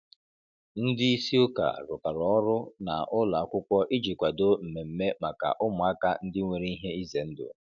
Ndị isi ụka rụkọrọ ọrụ na ụlọ akwụkwọ iji kwadoo mmemme maka ụmụaka ndị nwere ihe ize ndụ.